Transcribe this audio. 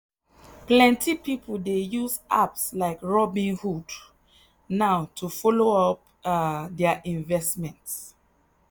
plenty people dey use apps like robinhood now to follow up um their investment.